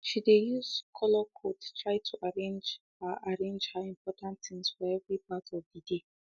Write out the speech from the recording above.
she de use colorcode type to arrange her arrange her important things for every part of de dey